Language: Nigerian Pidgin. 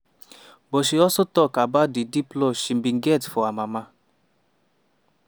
but she also tok about di deep love she bin get for her mama.